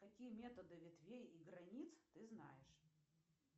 какие методы ветвей и границ ты знаешь